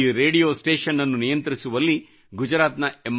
ಈ radio station ಅನ್ನು ನಿಯಂತ್ರಿಸುವಲ್ಲಿ ಗುಜರಾತ್ ನ ಎಂ